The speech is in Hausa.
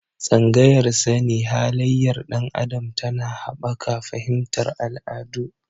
Tsangayar sani halayyar ɗan adam tana haɓaka fahimtar al'adu.